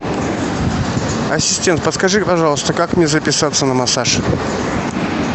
ассистент подскажи пожалуйста как мне записаться на массаж